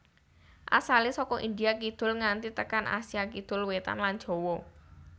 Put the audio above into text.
Asalé saka India kidul nganti tekan Asia Kidul wétan lan Jawa